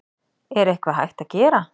Er eitthvað hægt að gera?